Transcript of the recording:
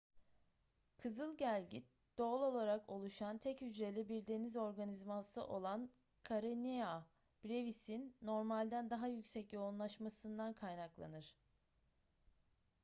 kızıl gelgit doğal olarak oluşan tek hücreli bir deniz organizması olan karenia brevis'in normalden daha yüksek yoğunlaşmasından kaynaklanır